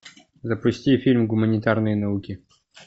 запусти фильм гуманитарные науки